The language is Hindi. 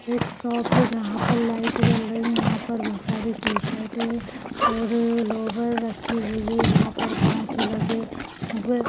एक शॉप है जहा पर लाइट जल रही यहा पर बहोत सारी टी शर्ट और लोअर रखी हुई है यहा पर काच लगे हुए--